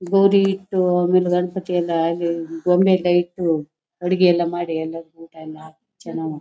ಗೌರಿ ಇಟ್ಟು ಆಮೇಲೆ ಗಣಪತಿ ಎಲ್ಲ ಆಗಿ ಗೊಂಬೆ ಎಲ್ಲ ಇಟ್ಟು ಅಡುಗೆ ಎಲ್ಲ ಮಾಡಿ ಎಲ್ಲ ಊಟ ಎಲ್ಲ ಹಾಕಿ ಚೆನ್ನಾಗ್